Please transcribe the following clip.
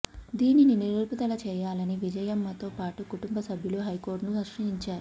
దీనిని నిలుపుదల చేయాలని విజయమ్మతో పాటు కుటుంబ సభ్యులు హైకోర్టును ఆశ్రయించారు